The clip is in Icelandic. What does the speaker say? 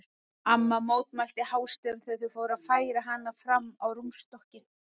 Amma mótmælti hástöfum þegar þau fóru að færa hana fram á rúmstokkinn.